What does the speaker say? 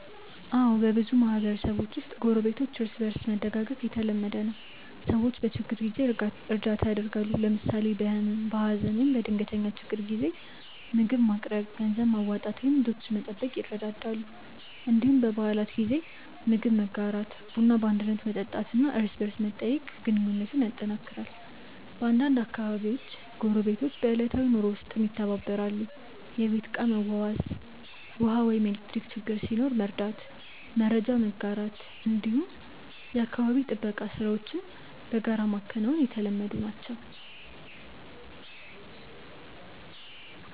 አዎ፣ በብዙ ማህበረሰቦች ውስጥ ጎረቤቶች እርስ በእርስ መደጋገፍ የተለመደ ነው። ሰዎች በችግር ጊዜ እርዳታ ያደርጋሉ፣ ለምሳሌ በህመም፣ በሀዘን ወይም በድንገተኛ ችግር ጊዜ ምግብ ማቅረብ፣ ገንዘብ ማዋጣት ወይም ልጆችን መጠበቅ ይረዳዳሉ። እንዲሁም በበዓላት ጊዜ ምግብ መጋራት፣ ቡና በአንድነት መጠጣት እና እርስ በርስ መጠያየቅ ግንኙነቱን ያጠናክራል። በአንዳንድ አካባቢዎች ጎረቤቶች በዕለታዊ ኑሮ ውስጥም ይተባበራሉ፤ የቤት ዕቃ መዋስ፣ ውሃ ወይም ኤሌክትሪክ ችግር ሲኖር መርዳት፣ መረጃ መጋራት ወይም የአካባቢ ጥበቃ ሥራዎችን በጋራ ማከናወን የተለመዱ ናቸው።